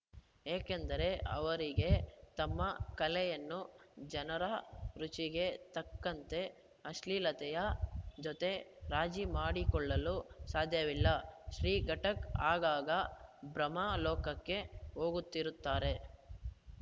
ಏಕೆಂದರೆ ಅವರಿಗೆ ತಮ್ಮ ಕಲೆಯನ್ನು ಜನರ ರುಚಿಗೆ ತಕ್ಕಂತೆ ಅಶ್ಲೀಲತೆಯ ಜೊತೆ ರಾಜಿ ಮಾಡಿಕೊಳ್ಳಲು ಸಾಧ್ಯವಿಲ್ಲ ಶ್ರೀ ಘಾಟಕ್‌ ಆಗಾಗ ಭ್ರಮಾಲೋಕಕ್ಕೆ ಹೋಗುತ್ತಿರುತ್ತಾರೆ